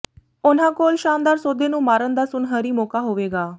ਉਨ੍ਹਾਂ ਕੋਲ ਸ਼ਾਨਦਾਰ ਸੌਦੇ ਨੂੰ ਮਾਰਨ ਦਾ ਸੁਨਹਿਰੀ ਮੌਕਾ ਹੋਵੇਗਾ